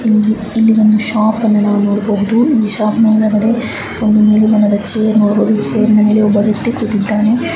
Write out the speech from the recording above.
ಇಲ್ಲಿ ಒಂದು ಶಾಪ್ ಅನ್ನು ನಾವು ನೋಡ್ ಬಹುದು ಈ ಶಾಪ್ ವ್ಯಕ್ತಿ ಕೂತಿಧಾನೇ .